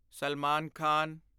Salman Khan